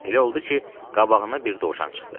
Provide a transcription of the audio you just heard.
Elə oldu ki, qabağına bir dovşan çıxdı.